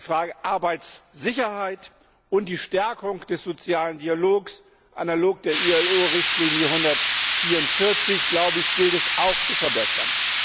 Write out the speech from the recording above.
Die Frage der Arbeitssicherheit und die Stärkung des sozialen Dialogs analog der IAO Richtlinie 144 gilt es auch zu verbessern.